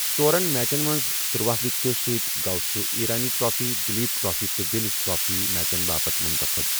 ژورَن میچن منٛز تروہ وکٹَو سۭتۍ گوٚو سُہ ایرانی ٹرافی، دلیپ ٹرافی، تہٕ ولز ٹرافی میچن باپتھ منتخب۔